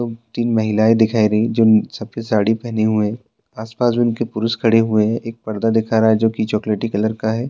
दो-तीन महिलाएँ दिखाई रही जो कि सफेद साड़ी पहने हुए आस-पास उनके पुरुष खड़े हए हैं एक पर्दा दिखाई जा रहा है जो की चॉकलेट कलर का है। --